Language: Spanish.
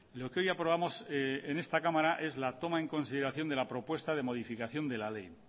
lo que hoy aprobamos en esta cámara es la toma en consideración de la propuesta de modificación de la ley